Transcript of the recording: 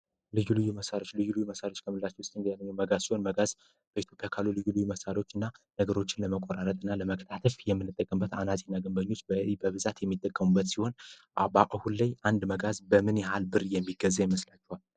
ልዩልዩ መሳሪያዎች ልዩሉዩ መሳሪዎች ከምላች ውስጥ እንያለኙ መጋዝ ሲሆን መጋዝ በኢቶፒያካሉ ልዩሉዩ መሣሪዎች እና ነግሮችን ለመኮራረጥ እና ለመቅጣትፍ የምንጠቅንበት አናዚን ገንበኞች በ በብዛት የሚጠከሙበት ሲሆን አባሁለይ አንድ መጋዝ በምን የሃል ብር የሚገዜ ይመስላቸዋል።